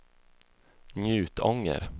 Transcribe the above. Njutånger